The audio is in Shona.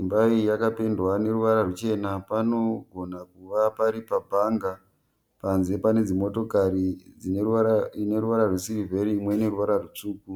Imba iyi yakapendwa neruvara ruchena. Panogona kuva pari pa bhanga. Panze pane dzimotokari , ineruvara rwe siriveri imwe ine ruvara rutsvuku.